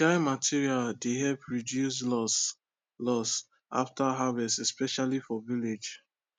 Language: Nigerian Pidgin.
dry material dey help reduce loss loss after harvest especially for village